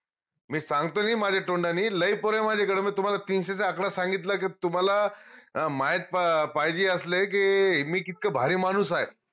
मी सांगतो नाई माझ्या तोंडानी लई पोर आहे माझ्याकडं मी तुम्हाला तीनशेचा आकडा सांगितला की तुम्हाला अं माहित पाहिजे असलं की मी कितक भारी माणूस आहे